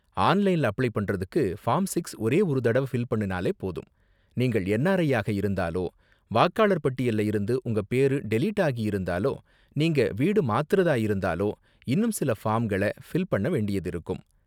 ஆன்லைன்ல அப்ளை பண்ணுறதுக்கு, form six ஒரே ஒரு தடவ ஃபில் பண்ணுனாலே போதும், நீங்கள் என்ஆர்ஐ ஆக இருந்தாலோ வாக்காளர் பட்டியல்ல இருந்து உங்க பேரு டெலீட் ஆகியிருந்தாலோ நீங்க வீடு மாத்துறதா இருந்தாலோ இன்னும் சில ஃபார்ம்கள ஃபில் பண்ண வேண்டியது இருக்கும்.